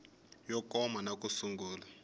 yo koma na ku sungula